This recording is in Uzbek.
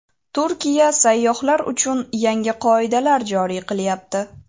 Turkiya sayyohlar uchun yangi qoidalar joriy qilyapti.